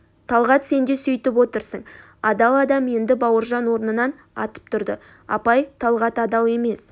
талғат сен де сөйтіп отырсың адал адам енді бауыржан орнынан атып тұрды апай талғат адал емес